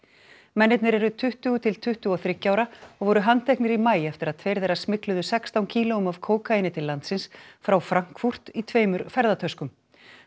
mennirnir eru tuttugu til tuttugu og þriggja ára og voru handteknir í maí eftir að tveir þeirra smygluðu sextán kílóum af kókaíni til landsins frá Frankfurt í tveimur ferðatöskum